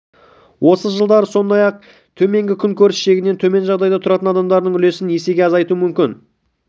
осы жылдары сондай-ақ ең төменгі күн көріс шегінен төмен жағдайда тұратын адамдардың үлесін есеге азайту мүмкін